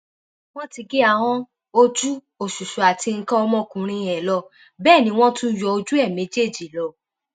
wọn ti gé ahọn ojú oṣùṣú àti nǹkan ọmọkùnrin ẹ lọ bẹẹ ni wọn tún yọ ojú ẹ méjèèjì lọ